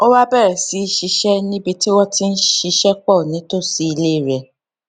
ó wá bèrè sí í ṣiṣé ní ibi tí wón ti ń ṣiṣé pò nítòsí ilé rè